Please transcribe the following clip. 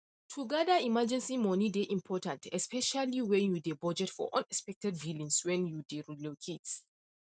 to gather emergency money dey important especially when you dey budget for unexpected billings when you dey relocate